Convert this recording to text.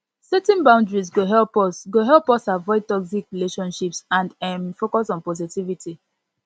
setting boundaries go help us go help us avoid toxic relationships and um focus on positivity